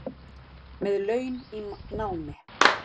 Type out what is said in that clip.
Með laun í námi